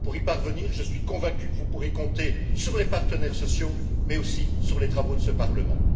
Pour y parvenir, je suis convaincu que vous pourrez compter sur les partenaires sociaux, mais aussi sur les travaux de ce Parlement.